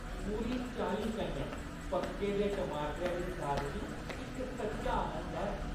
पूरी चाल्ली कन्नै पक्के दे टमाटरै दी सादगी इक सच्चा आनंद ऐ।